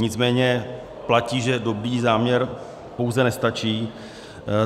Nicméně platí, že dobrý záměr pouze nestačí.